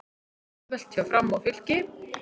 Auðvelt hjá Fram og Fylki